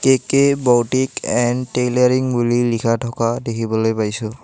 K K boutique and tailoring বুলি লিখা থকা দেখিবলৈ পাইছোঁ।